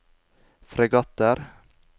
fregatter